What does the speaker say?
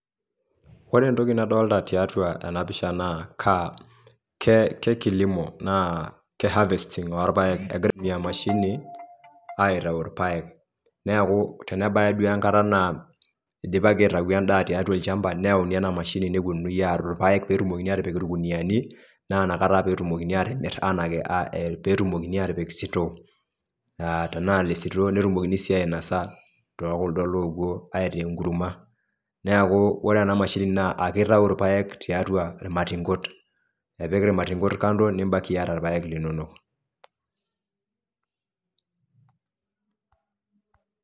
Ore entoki nadolita tiatua ena pisha naa CS[kilimo, harvesting]CS oo irpaek egirae aitumia emashini aitayu irpaek neeku tenebaki duoo enkata naa idipaki aitayu endaa tiatua olchamba nitayuni ena mashini neponunui arror irpaek petumokini aatipil k irkuniyiani naa inakata peyiee petumokini atimir petumokini atipik CS[store]CS tenaa le CS[store]CS netumokini sii ainosa too kuldo lopuo aitaa enkurma neeku ore ena mashini naa ekitayu irpaek tiatua irmatinkot spik irmatinkot kando nibakia irpaek linonok.